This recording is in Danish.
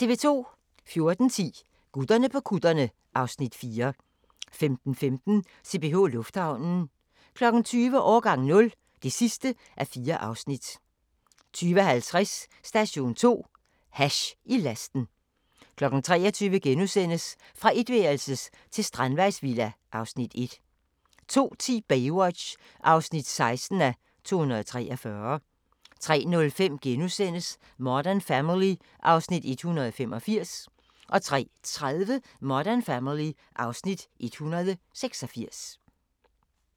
14:10: Gutterne på kutterne (Afs. 4) 15:15: CPH Lufthavnen 20:00: Årgang 0 (4:4) 20:50: Station 2: Hash i lasten 23:00: Fra etværelses til strandvejsvilla (Afs. 1)* 02:10: Baywatch (16:243) 03:05: Modern Family (Afs. 185)* 03:30: Modern Family (Afs. 186)